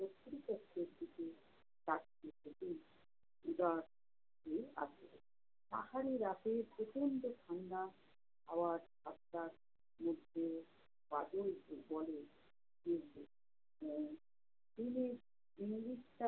পাহাড়ে রাতে প্রচণ্ড ঠাণ্ডা আবার সাতটার মধ্যে